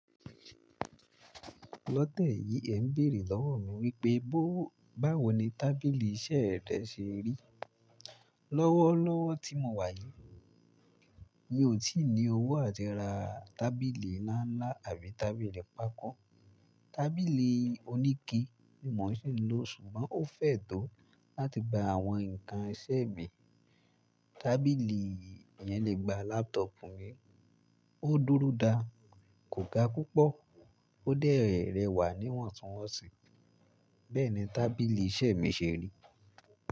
Lọtẹ́yì ẹ ń béèrè lọ́wọ̀ mi wípé bó— báwo ni tábìlì iṣẹ rẹ ṣe rí. Lọ́wọ́lọ́wọ́ tí mo wà yìí, mi ò tí ì ní owó láti ra tábìlì ńlá ńlá àbí tábìlì pákó. Tábìlì oníke ni mo sì ń lò, ṣùgbọ́n ó fẹ tó láti gba àwọn ǹkan iṣẹ mi. Tábìlì yẹn lè gba lápútọ̀pù mi, ó dúró dáa, kò ga púpọ̀ ó dẹ̀ rẹwà níwọ̀ntúnwọ̀nsì. Bẹ́ẹ̀ni tábìlì iṣẹ mi ṣe rí.